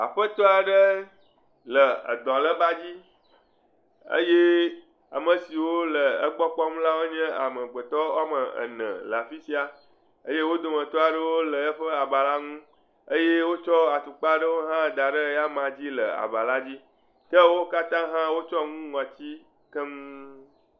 Aƒetɔ aɖe le edɔlébadzi eye ame siwo le egbɔ kpɔm la, wonye amegbetɔ woame ene le afi sia eye wo dometɔ aɖewo le eƒe aba la ŋu eye wotsɔ atukpa aɖewo hã da ɖe eyama dzi le aba la dzi, ke wo katã hã wotsyɔ nu ŋɔti keŋ.